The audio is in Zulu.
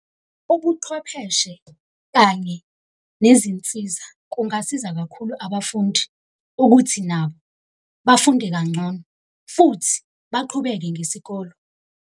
Ubuqhwepheshe kanye nezinsiza kungasiza kakhulu abafundi ukuthi nabo bafunde kangcono, futhi baqhubeke ngesikolo.